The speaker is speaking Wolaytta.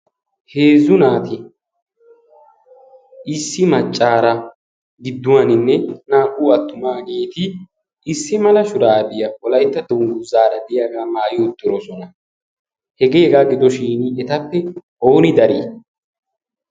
heezzu naati issi maccaara gidduwaaninne naa''u attumaa geeti issi mala shuraadiyaa olaitta donu zaara diyaagaa maayi ottiroosona hegee egaa gidoshin etappe ooni darii?